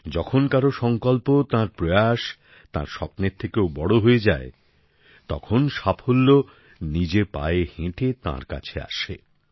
যখন কারও সঙ্কল্প তাঁর চেষ্টা তাঁর স্বপ্নের থেকেও বড় হয়ে যায় তখন সফলতা নিজে পায়ে হেঁটে তাঁর কাছে আসে